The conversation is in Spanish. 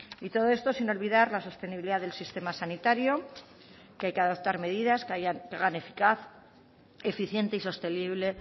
y todo esto sin olvidar la sostenibilidad del sistema sanitario que hay que adoptar medidas que hagan eficaz eficiente y sostenible